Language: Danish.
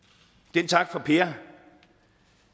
den tak fra per